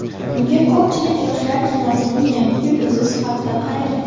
Unga ko‘pchilik yoshlar kinosining yangi yulduzi sifatida qaragan.